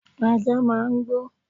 Ajá máà ń gbó